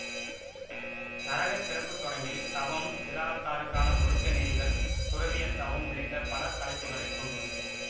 நரகர் பிறப்பு தொடங்கி தவம் இல்லறத்தாருக்கான ஒழுக்க நெறிகள் துறவியார் தவம் உள்ளிட்ட பல தலைப்புகளைக் கொண்டுள்ளது